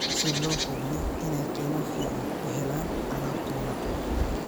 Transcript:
si loo hubiyo inay qiimo fiican u helaan alaabtooda.